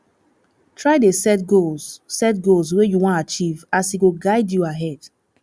try dey set goals set goals wey you wan achieve as e go guide you ahead